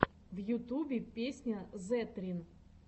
в ютубе песня зэтрин